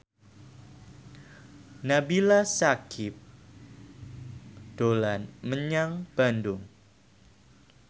Nabila Syakieb dolan menyang Bandung